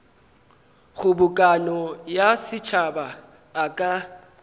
kgobokano ya setšhaba a ka